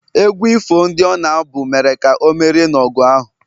egwu ifo ndị ọ na-abụ mere ka o merie n’ọgụ ahụ